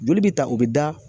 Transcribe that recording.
Joli bi ta o be da